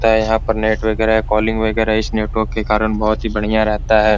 ते यहां पर नेटवर्क वगैरा कॉलिंग वगैरा इस नेटवर्क के कारण बहुत बढ़िया रहता है।